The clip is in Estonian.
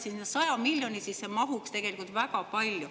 Selle 100 miljoni sisse mahuks tegelikult väga palju.